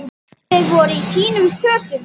Allir voru í fínum fötum.